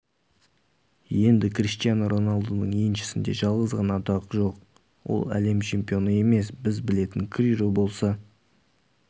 енді криштиану роналдудың еншісінде жалғыз ғана атақ жоқ ол әлем чемпионы емес біз білетін криро болса